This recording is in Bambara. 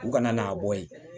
U kana n'a bɔ yen